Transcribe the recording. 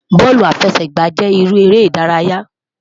Bọọlu afẹsẹgba jẹ iru ere idaraya